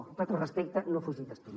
amb tot el respecte no fugi d’estudi